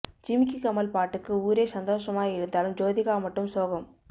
ஜிமிக்கி கம்மல் பாட்டுக்கு ஊரே சந்தோஷமா இருந்தாலும் ஜோதிகா மட்டும் சோகம்